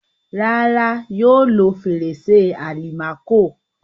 Rárá, yóò lo fèrèsé àlìmákò.